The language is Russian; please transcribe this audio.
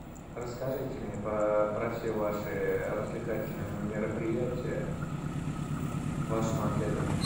расскажите мне про все ваши развлекательные мероприятия в вашем отеле